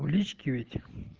в личке ведь